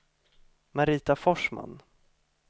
Marita Forsman